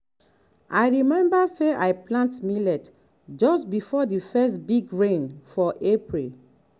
i remember say i plant millet just before the first big rain for april.